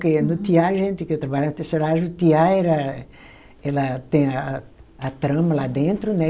Porque no tear a gente, que eu trabalhava na tecelagem, o tear era, ela tem a a, a trama lá dentro, né?